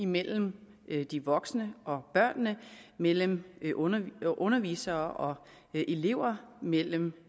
mellem de voksne og børnene mellem undervisere undervisere og elever mellem